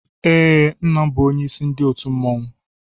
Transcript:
Ee, Nna m bụ onyeisi ndị otu mmọnwụ.